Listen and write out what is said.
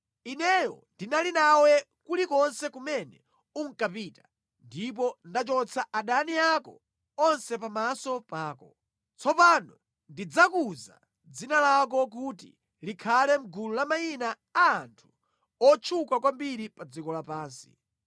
Ineyo ndinali nawe kulikonse kumene unkapita, ndipo ndachotsa adani ako onse pamaso pako. Tsopano ndidzakuza dzina lako kuti likhale mʼgulu la mayina a anthu otchuka kwambiri pa dziko lapansi.